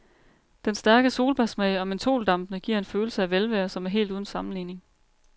Den stærke solbærsmag og mentholdampene giver en følelse af velvære, som er helt uden sammenligning.